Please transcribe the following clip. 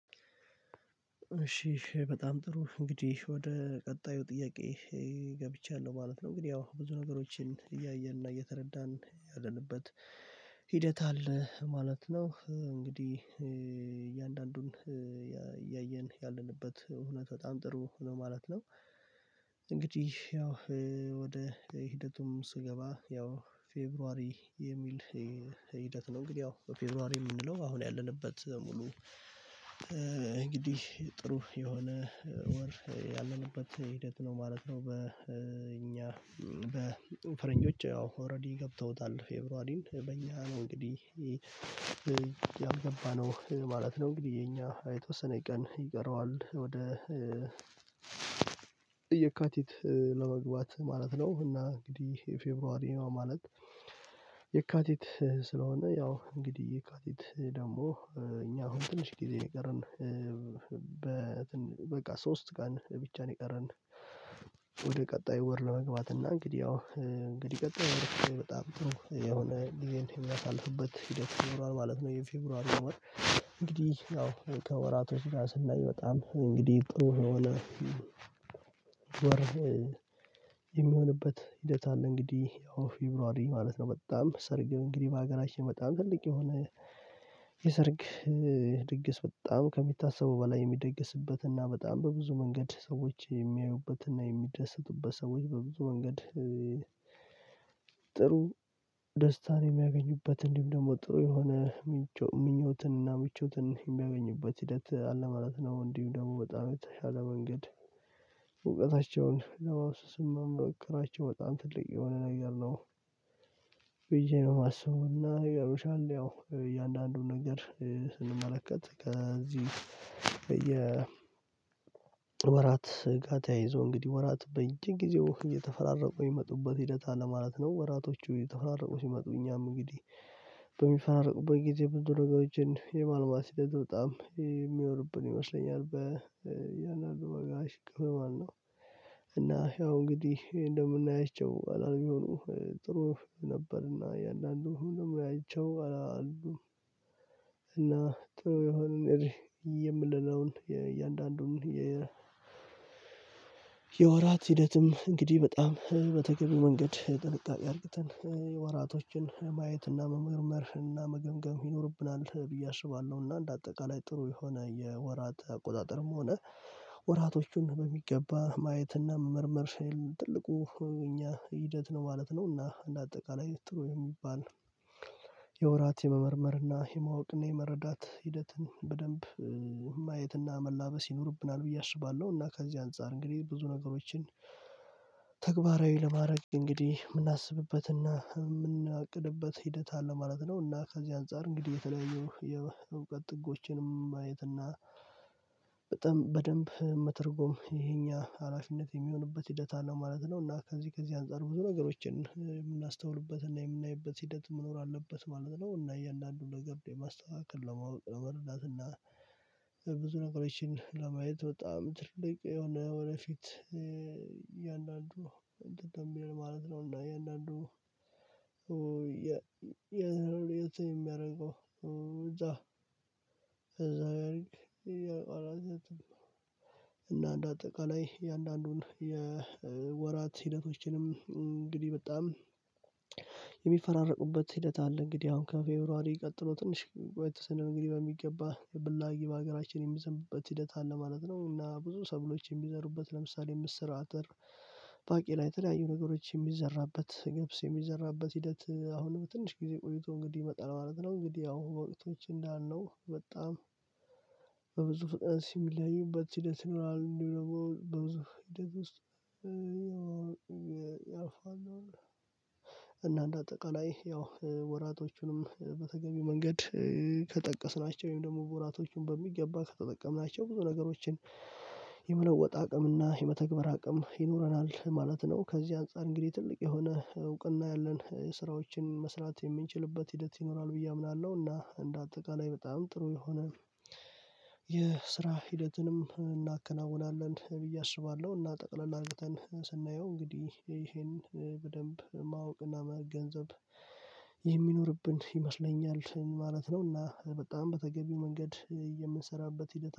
እሺ በጣም ጥሩ እንግዲህ ወደ ቀጣዩ ጥያቄ ገብቻለሁ ማለት ነው። ግን ያው ብዙ ነገሮችን እያየን እና እየተረዳን ያለንበት ሂደት አለ ማለት ነው። እንግዲህ እያንዳንዱን ያየን ያለንበት እውነት በጣም ጥሩ ነው ማለት ነው። እንግዲህ ያው ወደ ሂደቱም ስገባ ያው ፌብሩዋሪ የሚል ሂደት ነው። እንግዲህ ያው ፌብሩዋሪ የምንለው አሁን ያለንበት ሙሉ እንግዲህ ጥሩ የሆነ ወር ያለንበት ሂደት ነው ማለት ነው። በእኛ በፈረንጆች ያው ኦሬዲ ገብተውታል ፌብሩዋርን በእኛ ነው እንግዲህ ያልገባነው ማለት ነው። እንግዲህ የኛ የተወሰነ ቀን ይቀረዋል ወደ የካቲት ለመግባት ማለት ነው። እና እንግዲህ ይሄ ፌብሩዋሪ ነው ማለት። የካቲት ስለሆነ ያው እንግዲህ የካቲት ደግሞ እኛ አሁን ትንሽ ጊዜ የቀረን በቃ ሶስት ቀን ብቻ ነው የቀረን። ወደ ቀጣዩ ወር ለመግባት እና እንግዲህ ያው እንግዲህ ቀጣዩ በጣም ጥሩ የሆነ ጊዜን የሚያሳልፍበት ሂደት ይኖራል ማለት ነው። የፌብሩዋሪው እንግዲህ ያው ከወራቱ ስራ ስናይ በጣም እንግዲህ ጥሩ የሆነ የሚሆንበት ሂደት አለ። እንግዲህ ያው ፌብሩዋሪ አማለት ነው። በጣም ሰርግ እንግዲህ በሀገራችን በጣም ትልቅ የሆነ የሰርግ ድግስ በጣም ከሚታሰበው በላይ የሚደግስበት እና በጣም በብዙ መንገድ ሰዎች የሚያዩበትና የሚደሰቱበት ሰዎች በብዙ መንገድ ጥሩ ደስታን የሚያገኙበት እንዲሁም ደግሞ ጥሩ የሆነ ምኞትንና ምቾትን የሚያገኙበት ሂደት አለ ማለት ነው። እንዲሁ ደግሞ በጣም የተሻለ መንገድ እውቀታቸውን ለማፊሰስ መሞከራቸው በጣም ትልቅ የሆነ ነገር ነው። ብዬ ነው የማስበው እና ነገሮች አሉ ያው እያንዳንዱን ነገር ስንመለከት ከዚህ በየ ወራት ስጋት ያይዞ እንግዲህ ወራት በየጊዜው ጊዜው እየተፈራረቁ የሚመጡበት ሂደት ማለት ነው ወራቶቹ እየተፈራረቁ ሲመጡ እኛም እንግዲህ በሚፈራርቁበት ጊዜ ብዙ ነገሮችን የማልማት ሂደት በጣም የሚኖርብን ይመስለኛል፥። በእያንዱ ደጋ ክፍል ማለት ነው። እና ያው እንግዲህ እንደምናያቸው አላርም የሆኑ ጥሩ ነበርና እያንዳንዱ ሁሉ ይይቻው አላሉም እና ጥሩ የሆነ የምለነውን የእያንዳንዱን የ የወራት ሂደትም እንግዲህ በጣም በተገቢ መንገድ ጥንቃቄ አድርገን የወራቶችን ማየት እና መመርመር እና መገምገም ይኖርብናል ብዬ አስባለሁ። እና እንደ አጠቃላይ ጥሩ የሆነ የወራት አቆጣጠርም ሆነ ወራቶቹን በሚገባ ማየት እና መመርመር ትልቁ የኛ ሂደት ነው ማለት ነው። እና እንደ አጠቃላይ ጥሩ የሚባል የወራት የመመርመርና የማወቅና የመረዳት ሂደትን በደንብ ማየትና መላበስ ይኖርብናል ብዬ አስባለሁ። እና ከዚህ አንፃር እንግዲህ ብዙ ነገሮችን ተግባራዊ ለማድረግ እንግዲህ ምናስብበትና ምናቅድበት ሂደት አለ ማለት ነው። እና ከዚህ አንፃር እንግዲህ የተለያዩ የእውቀት ጥጎችንም ማየት እና በጣም በደንብ መተርጎም የኛ ሀላፊነት የሚሆንበት ሂደት አለ ማለት ነው። እና ከዚህ ከዚህ አንፃር ብዙ ነገሮችን የምናስተውልበት እና የምናይበት ሂደት መኖር አለበት ማለት ነው። እና እያንዳንዱ ነገር የማስተካከል ለማወቅ ለረዳት እና ብዙ ነገሮችን ለማየት በጣም ትልቅ የሆነ ወደፊት እያንዳንዱ እንትን ከሚል ማለት ነው። እና እያንዳንዱ የ ለየት የሚያደርገው እዛ ከዛ ጋር እቆራረጥኩ። እና እንደ አጠቃላይ እያንዳንዱን የወራት ሂደቶችንም እንግዲህ በጣም የሚፈራረቁበት ሂደት አለ። እንግዲህ አሁን ከፌብሩዋሪ ቀጥሎ ትንሽ ቆየት ስንል እንግዲህ በሚገባ ብላጊ በሀገራችን የሚዘንበት ሂደት አለ ማለት ነው። እና ብዙ ሰብሎችን የሚዘሩበት ለምሳሌ ምስር፣ አተር፣ ባቄላ የተለያዩ ነገሮች የሚዘራበት ገብስ የሚዘራበት ሂደት አሁንም ትንሽ ጊዜ ቆይቶ እንግዲህ ይመጣል ማለት ነው። እንግዲህ ያው ወቅቶች እንዳልነው በጣም በብዙ ፍጥነት የሚለያዩበት ሂደት ይኖራል። እንዲሁም ደግሞ በብዙ ሂደት ውስጥ ያልፋል። እና እንደ አጠቃላይ ያው ወራቶቹንም በተገቢው መንገድ ከጠቀስናቸው ወይም ደግሞ ወራቶቹን በሚገባ ከተጠቀምናቸው ብዙ ነገሮችን የመለወጥ አቅምና የመተግበር አቅም ይኖረናል ማለት ነው። ከዚህ አንፃር እንግዲህ ትልቅ የሆነ እውቅና ያለን ስራዎችን መስራት የምንችልበት ሂደት ይኖራል ብዬ አምናለሁ። እና እንደ አጠቃላይ በጣም ጥሩ የሆነ የስራ ሂደትንም እናከናውናለን ብዬ አስባለሁ። እና ጠቅለል አድርገን ስናየው እንግዲህ ይሄን በደንብ ማወቅና መገንዘብ የሚኖርብን ይመስለኛል ማለት ነው። እና በጣም በተገቢው መንገድ የምንሰራበት ሂደት